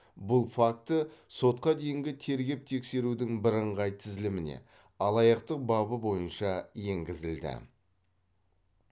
бұл факті сотқа дейінгі тергеп тексерудің бірыңғай тізіліміне алаяқтық бабы бойынша енгізілді